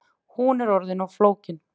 Hún er orðin of flókin